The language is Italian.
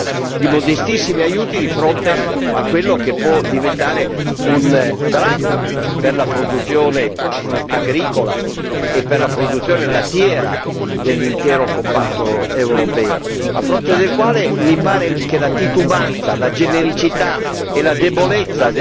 Ci parla di modestissimi aiuti di fronte a quello che può diventare un dramma per la produzione agricola e per la produzione lattiera dell'intero comparto europeo, a fronte del quale mi pare che la titubanza, la genericità e la debolezza